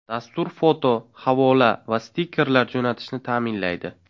Dastur foto, havola va stikerlar jo‘natishni ta’minlaydi.